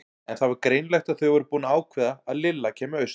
En það var greinilegt að þau voru búin að ákveða að Lilla kæmi austur.